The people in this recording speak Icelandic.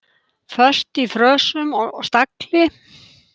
Föst í frösum og stagli.